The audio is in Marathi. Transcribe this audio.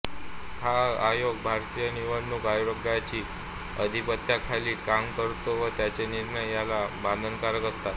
हा आयोग भारतीय निवडणूक आयोगाच्या आधिपत्त्याखाली काम करतो व त्याचे निर्णय याला बंधनकारक असतात